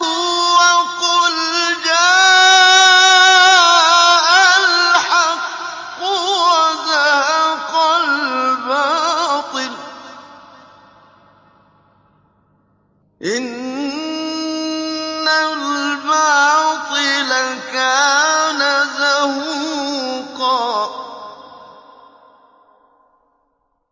وَقُلْ جَاءَ الْحَقُّ وَزَهَقَ الْبَاطِلُ ۚ إِنَّ الْبَاطِلَ كَانَ زَهُوقًا